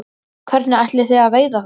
Hvernig ætlið þið að veiða þær?